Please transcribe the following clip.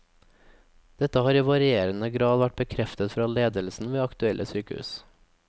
Dette har i varierende grad vært bekreftet fra ledelsen ved aktuelle sykehus.